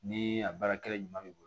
Ni a baarakɛla ɲuman b'i bolo